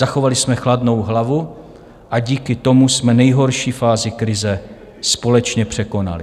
Zachovali jsme chladnou hlavu a díky tomu jsme nejhorší fázi krize společně překonali.